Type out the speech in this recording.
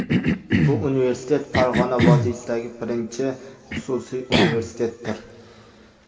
Bu universitet Farg‘ona vodiysidagi birinchi xususiy universitetdir.